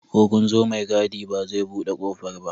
Ko kunzo mai gadi ba zai buɗe kofar ba